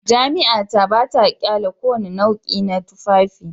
Jami'a ta ba ta ƙyale kowane nau'i na tufafi